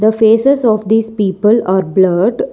the faces of these people are blurred.